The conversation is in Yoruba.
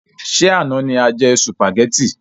Ṣé àna ni a jẹ sùpàgétì?